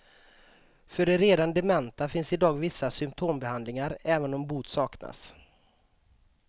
För de redan dementa finns idag vissa symptombehandlingar, även om bot saknas.